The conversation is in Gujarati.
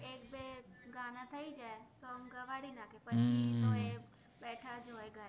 ગાના થાઇ જાએ સોન્ગ ગવાદિ નાખે પછિ પેલો એ બેથા જ હોએ ઘરે